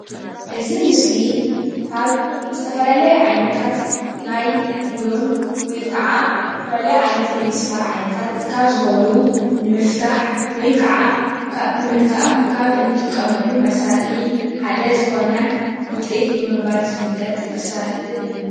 እዚ ምስሊ ካብ ዝተፈላለየ ዓይነታት ናይ ቡሎን ወይ ከዓ ናይ ዝተፈላለየ ናይ ሚስማር ዓይነታት ካብ ዝኮኑ ንምፍትሕ ወይ ከዓ ንምግጣም ካብ እንጥቀመሎም መሳርሒ ሓደ ዝኮነ ጉጢት ብምባል ዝፈለጥ መሳርሒ እዩ፡፡